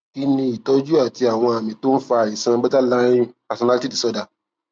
kí ni ìtọjú àti àwọn àmì tó ń fa àìsàn borderline personality disorder